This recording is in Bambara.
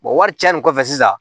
wari caya nin kɔfɛ sisan